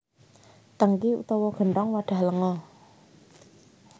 Tèngki utawa genthong wadhah lenga